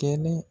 Kɛnɛ